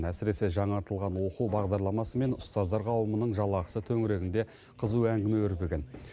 әсіресе жаңартылған оқу бағдарламасы мен ұстаздар қауымының жалақысы төңірегінде қызу әңгіме өрбіген